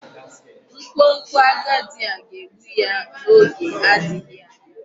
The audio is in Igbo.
Nkwonkwo agadi a ga-egbu ya n'oge adịghị anya.